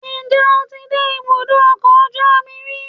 njẹ o tí dé ibudọ ọkọ ojú omí rí?